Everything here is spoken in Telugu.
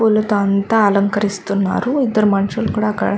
పూలతో అంతా అలంకరిస్తున్నారు. ఇద్దరు మనుసులు కూడా అక్కడ--